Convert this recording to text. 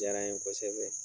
Diyara n ye kosɛbɛ